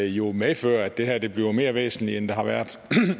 jo medfører at det her bliver mere væsentligt end det har været